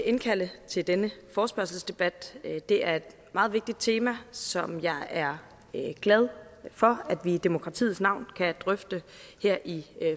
at indkalde til denne forespørgselsdebat det er et meget vigtigt tema som jeg er glad for at vi i demokratiets navn kan drøfte her i